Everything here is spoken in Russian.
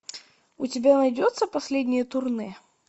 у тебя найдется последнее турне